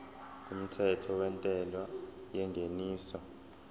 kumthetho wentela yengeniso